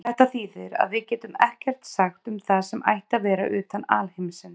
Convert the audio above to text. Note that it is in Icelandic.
Þetta þýðir að við getum ekkert sagt um það sem ætti að vera utan alheimsins.